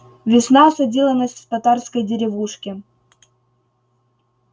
весна осадила нас в татарской деревушке